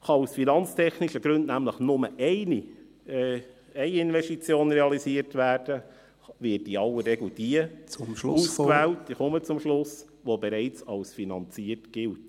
Kann aus finanztechnischen Gründen nämlich nur eine Investition realisiert werden, wird in aller Regel diejenige ausgewählt –ich komme zum Schluss –, welche bereits als finanziert gilt.